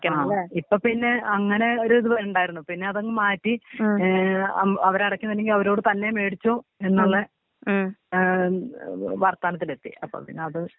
ആ ഇപ്പൊ പിന്നെ അങ്ങനെ ഒരു ഇതുണ്ടായിരുന്നു പിന്നെ അതങ്ങു മാറ്റി. ഏ അവരടക്കുന്നില്ലെങ്കി അവരോട് തന്നെ മേടിച്ചോ എന്നുള്ള. ഏ വർത്താനത്തിലെത്തി അപ്പൊ പിന്നെ അത്.